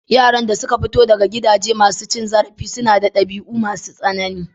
Yaran da suka fito daga gidaje masu cin zarafi sunada ɗabi'u masu tsanani.